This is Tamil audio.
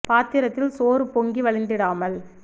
பாத்திரத்தில் சோறுபொங்கி வழிந்தி டாமல்